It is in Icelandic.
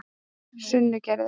Sunnugerði